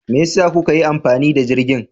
Me yasa kuka yi amfani da jirgin?